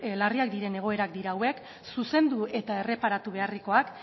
larriak diren egoerak dira hauek zuzendu eta erreparatu beharrekoak